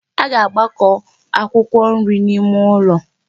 A ga-agbakọ akwụkwọ nri n'ime ụlọ.